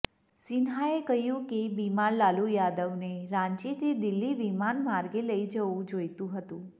સિંહાએ કહ્યું કે બીમાર લાલુ યાદવને રાંચીથી દિલ્હી વિમાન માર્ગે લઈ જવું જોઈતું હતું